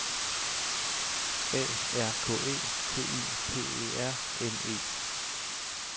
A R K E T Y P E R N E